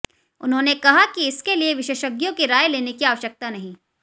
उन्होंने कहा कि इसके लिये विशेषज्ञों की राय लेने की आवश्यकता नहीं